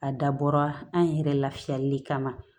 A dabɔra an yɛrɛ lafiyali de kama